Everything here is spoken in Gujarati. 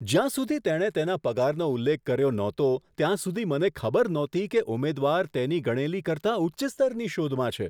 જ્યાં સુધી તેણે તેના પગારનો ઉલ્લેખ કર્યો નહતો ત્યાં સુધી મને ખબર નહોતી કે ઉમેદવાર તેની ગણેલી કરતાં ઉચ્ચ સ્તરની શોધમાં છે.